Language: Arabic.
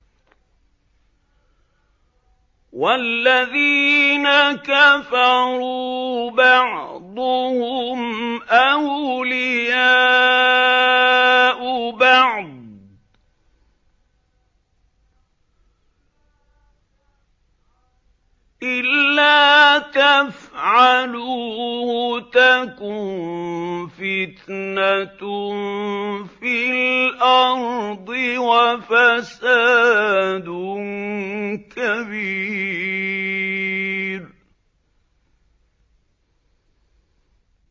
وَالَّذِينَ كَفَرُوا بَعْضُهُمْ أَوْلِيَاءُ بَعْضٍ ۚ إِلَّا تَفْعَلُوهُ تَكُن فِتْنَةٌ فِي الْأَرْضِ وَفَسَادٌ كَبِيرٌ